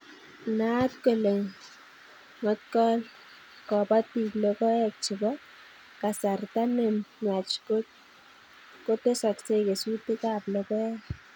Naat kole ngotkokol kobotik logoek chebo kasarta ne nwach kotesoksei kesutikab logoek